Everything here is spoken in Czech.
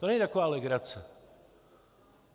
To není taková legrace.